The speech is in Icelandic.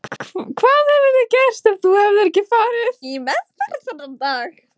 Hvað hefði gerst ef þú hefðir ekki farið í meðferð þennan dag?